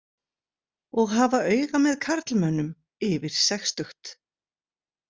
Og hafa auga með karlmönnum yfir sextugt.